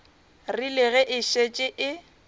rile ge e šetše e